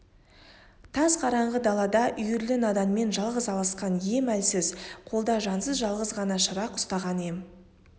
тас қараңғы далада үйірлі наданмен жалғыз алысқан ем әлсіз қолда жансыз жалғыз ғана шырақ ұстаған ем